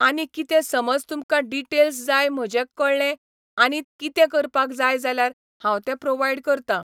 आनी कितें समज तुमकां डिटेल्स जाय म्हजें कळ्ळें आनी कितें करपाक जाय जाल्यार हांव तें प्रोवायड करतां